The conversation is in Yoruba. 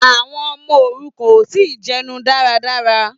Àwọn ọmọ òrukàn ò tí ì jẹnu dáradára